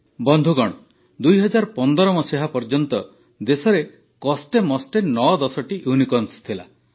ବନ୍ଧୁଗଣ ୨୦୧୫ ପର୍ଯ୍ୟନ୍ତ ଦେଶରେ କଷ୍ଟେମଷ୍ଟେ ନଅ ଦଶଟି ୟୁନିକର୍ଣ୍ଣସ୍ ଥିଲା